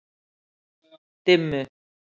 Dimmu